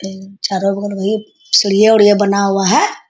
इन चारों बगल वही सीढ़िया-उढ़िया बना हुआ है।